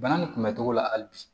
Bana nin kunbɛ cogo la hali bi